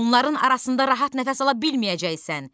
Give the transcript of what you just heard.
Onların arasında rahat nəfəs ala bilməyəcəksən.